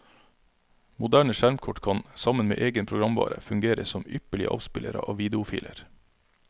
Moderne skjermkort kan, sammen med egen programvare, fungere som ypperlige avspillere av videofiler.